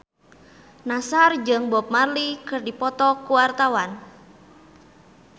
Nassar jeung Bob Marley keur dipoto ku wartawan